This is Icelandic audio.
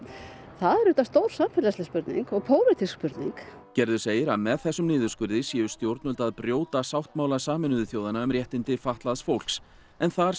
það er auðvitað samfélagsleg spurning og pólitísk spurning gerður segir að með þessum niðurskurði séu stjórnvöld að brjóta sáttmála Sameinuðu þjóðanna um réttindi fatlaðs fólks en þar